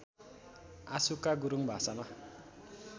आँसुका गुरुङ भाषामा